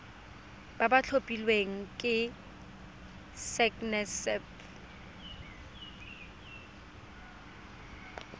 ba ba tlhophilweng ke sacnasp